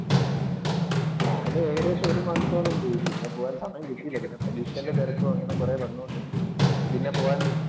ഞാന് ഏകദേശം ഒരു മാസത്തോളം പോയി. പിന്നെ പോകാൻ സമയം കിട്ടിയില്ല. പിന്നെ പരീക്ഷേന്‍റെ തെരക്കും അങ്ങനെ കൊറേ വന്നോണ്ട് പിന്നെ പോകാൻ